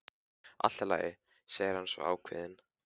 Allt í lagi, segir hann svo ákveðinn.